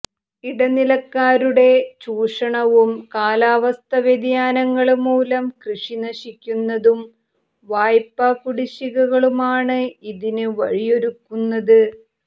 ഇടനിലക്കാരുടെ ചൂഷണവും കാലാവസ്ഥാ വ്യതിയാനങ്ങള് മൂലം കൃഷി നശിക്കുന്നതും വായ്പാകുടിശികകളുമാണ് ഇതിന് വഴിയൊരുക്കുന്നത്